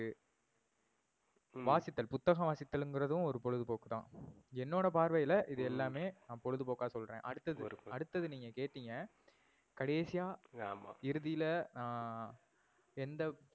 ஹம் வாசித்தல், புத்தகம் வாசித்தல்னுறதும் ஒரு பொழுதுபோக்குதான். என்னோட பார்வைல இது ஹம் எல்லாமே பொழுதுபோக்கா சொல்றேன். அடுத்தது, ஒரு. அடுத்தது நீங்க கேடிங்க, கடைசியா அஹ் ஆமா இறுதில ஆஹ் எந்த